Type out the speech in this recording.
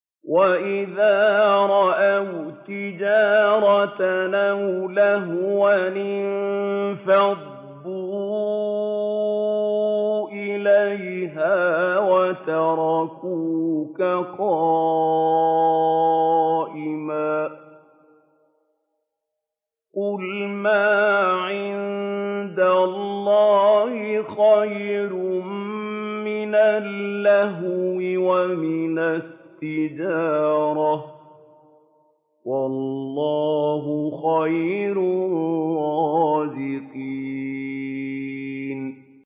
وَإِذَا رَأَوْا تِجَارَةً أَوْ لَهْوًا انفَضُّوا إِلَيْهَا وَتَرَكُوكَ قَائِمًا ۚ قُلْ مَا عِندَ اللَّهِ خَيْرٌ مِّنَ اللَّهْوِ وَمِنَ التِّجَارَةِ ۚ وَاللَّهُ خَيْرُ الرَّازِقِينَ